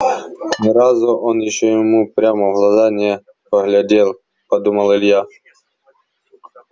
ни разу он ещё ему прямо в глаза не поглядел подумал илья